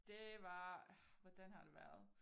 Det var orh hvordan har det været